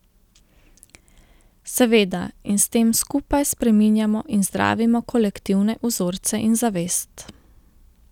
Seveda in s tem skupaj spreminjamo in zdravimo kolektivne vzorce in zavest.